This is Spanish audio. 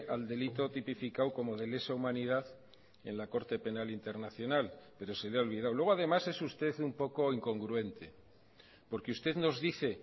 al delito tipificado como de lesa humanidad en la corte penal internacional pero se le ha olvidado luego además es usted un poco incongruente porque usted nos dice